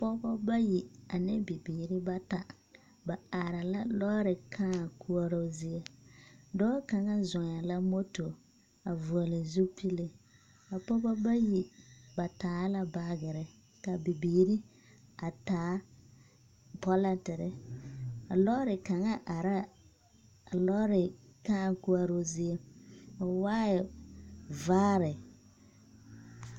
Pɔgbɔ bayi ane bibiiri bata, ba are la lɔɔre kãã koɔroo zie. Dɔɔ kaŋa zɔŋɛɛ la moto, a vɔgle zupili. A pɔgba bayi ba taa la baagere ka bibiiri a taa pɔlɔtere. A lɔɔre kaŋa arɛɛ a lɔɔre kãã koɔroo zie. O waaɛ la vaare.